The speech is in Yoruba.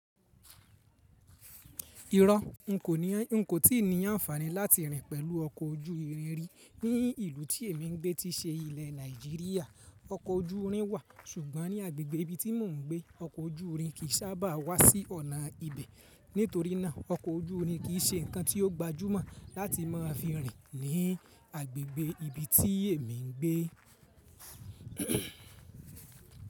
Irọ́ n kò tí ì ní àǹfààní láti rìn pẹ̀lú ọkọ̀ ojú irin rí. Ní ìlú tí èmi ń gbé tí ṣe ilẹ̀ Nàìjíríà, ọkọ̀ ojú irin wà, ṣùgbọ́n ní agbègbè ibi tí mò ń gbé, ọkọ̀ ojú irin kì í sábà wá sí ọ̀nà ibẹ̀. Nítorí náà, ọkọ̀ ojú irin kì í ṣe ǹkan tí ó gbajúmọ̀ láti máa fi rìn ní agbègbè ibi tí èmi ń gbé.